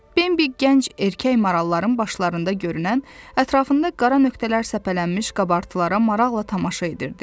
Bembi gənc erkək maralların başında görünən, ətrafında qara nöqtələr səpələnmiş qabartılara maraqla tamaşa edirdi.